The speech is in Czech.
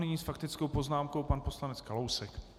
Nyní s faktickou poznámkou pan poslanec Kalousek.